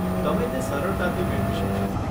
તમે તે સરળતાથી મેળવી શકશો.